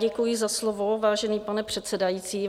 Děkuji za slovo, vážený pane předsedající.